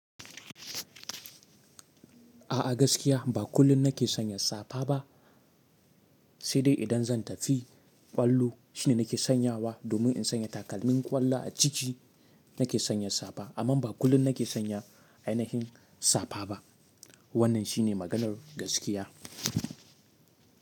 A'a gaskiya ba kullum na ke sanya safa ba, sai dai idan zan tafi ƙwallo shine na ke sanyawa domin in sanya takalmin ƙwallo a ciki na ke sanya safa. Amma ba kullum na ke sanya ainihin safa ba. Wannan shine maganar gaskiya.